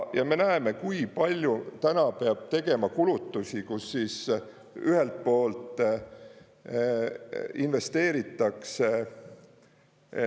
Ja me näeme, kui palju täna peab tegema kulutusi, kus ühelt poolt investeeritakse …